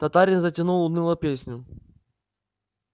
татарин затянул унылую песню